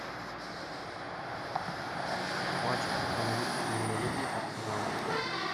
матч английской премьер лиги арсенал